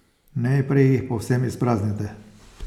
Najprej jih povsem izpraznite.